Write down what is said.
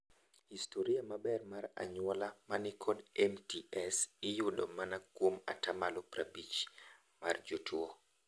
Historia maber mar anyuola manikod MTS iyudo manakuom atamalo prabich mar jotuo.